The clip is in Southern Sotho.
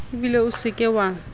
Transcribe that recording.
ebile o se ke wa